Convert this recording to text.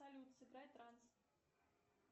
салют сыграй транс